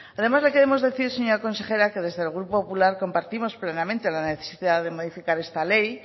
además le queremos decir señora consejera que desde el grupo popular compartimos plenamente la necesidad de modificar esta ley